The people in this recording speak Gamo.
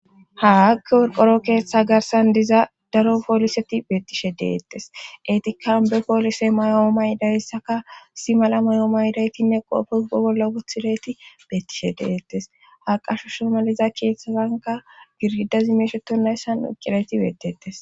haakki worqoro keeththa garsan diza daro pooliseti beettishe deettes eetikan be poolise mayoo maydayssaka si mala may7oo maydaytinne qoofeugo bolla wothilayti beettishe deettes ha qasho shomaliza keeththazanka girgidazi meesheto nayssan uqqirayti beetetes